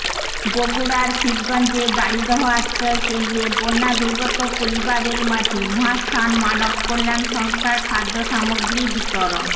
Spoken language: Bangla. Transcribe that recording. বগুড়ার শিবগঞ্জের দাড়িদহ আশ্রয় কেন্দ্রে বন্যাদূর্গত পরিবারের মাঝে মহাস্থান মানব কল্যান সংস্থার খাদ্য সামগ্রী বিতরণ